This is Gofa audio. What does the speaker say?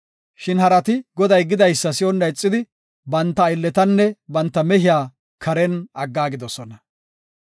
Shin harati Goday gidaysa si7onna ixidi banta aylletanne banta mehiya karen aggaagidosona.